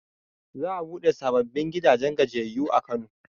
Za a buɗe sababbin gidan gajiyayyu a kano